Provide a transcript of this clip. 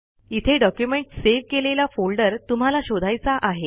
इथे document save केलेला folder तुम्हाला शोधायचा आहे